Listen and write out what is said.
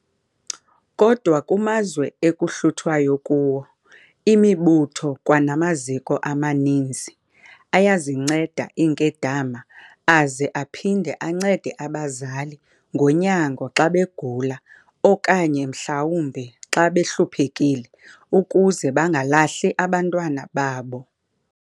Kodwa kumazwe ekuhluthwayo kuwo, imibutho kwanamaziko amaninzi ayazinceda iinkedama aze aphinde ancede abazali ngonyango xa begula okanye mhlawumbi xa behluphekile, ukuze bangabalahli abantwana babo.